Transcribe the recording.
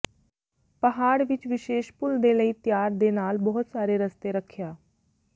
ਪਹਾੜ ਵਿੱਚ ਵਿਸ਼ੇਸ਼ ਭੁੱਲਦੇ ਲਈ ਤਿਆਰ ਦੇ ਨਾਲ ਬਹੁਤ ਸਾਰੇ ਰਸਤੇ ਰੱਖਿਆ